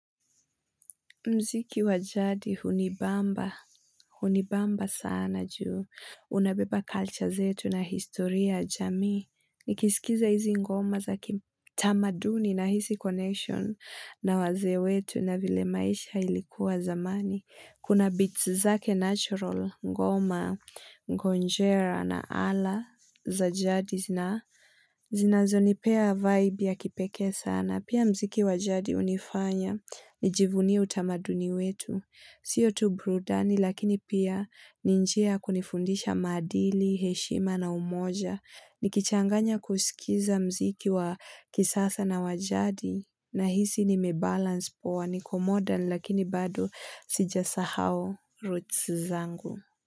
Mziki wajadi hunibamba, hunibamba sana juu, unabeba culture zetu na historia ya jamii, nikisikiliza hizi ngoma za kitamaduni na hisi connection na wazee wetu na vile maisha ilikuwa zamani. Kuna beats zake natural, ngoma, ngonjera na ala za jadi zina zinazo nipea vibe ya kipeke sana. Pia mziki wa jadi hunifanya, nijivunie utamaduni wetu. Sio tu burudani lakini pia ninjia ya kunifundisha madili, heshima na umoja. Nikichanganya kusikiza mziki wa kisasa na wajadi na hisi nimebalance poa niko modern lakini bado sijasahau roots zangu.